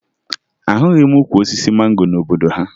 Ahụghị m ukwu osisi mango n'obodo ha